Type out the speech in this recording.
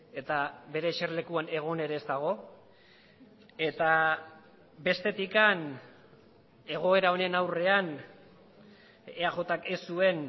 eta bere eserlekuan egon ere ez dago eta bestetik egoera honen aurrean eajk ez zuen